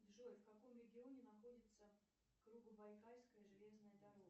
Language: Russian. джой в каком регионе находится кругобайкальская железная дорога